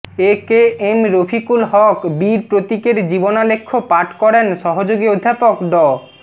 এ K M Rafiqul Haque বীর প্রতীকের জীবনালেখ্য পাঠ করেন সহযোগী অধ্যাপক ড